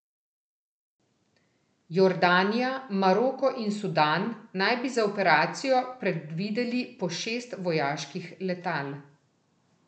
Jordanija, Maroko in Sudan naj bi za operacijo predvideli po šest vojaških letal.